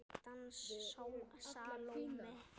Dans Salóme.